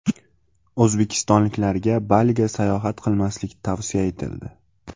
O‘zbekistonliklarga Baliga sayohat qilmaslik tavsiya etildi.